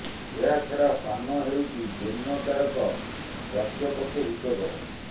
ଏହା ଛ଼଼ଡା ପାନ ହେଉଛି ଜିର୍ଣ୍ଣ କାରକ ସ୍ୱସ୍ଥ୍ୟ ପକ୍ଷେ ହିତକର